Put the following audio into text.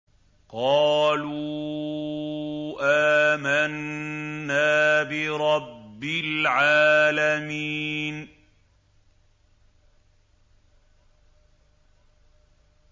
قَالُوا آمَنَّا بِرَبِّ الْعَالَمِينَ